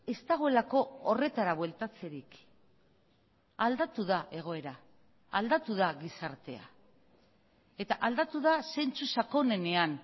ez dagoelako horretara bueltatzerik aldatu da egoera aldatu da gizartea eta aldatu da zentzu sakonenean